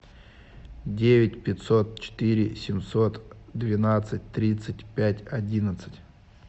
девять пятьсот четыре семьсот двенадцать тридцать пять одиннадцать